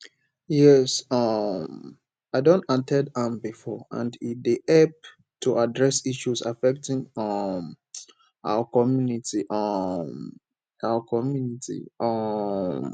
yes um i don at ten d am before and e dey help to address issues affecting um our community um our community um